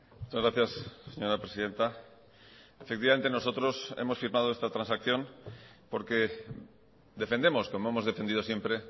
muchas gracias señora presidenta efectivamente nosotros hemos firmado esta transacción porque defendemos como hemos defendido siempre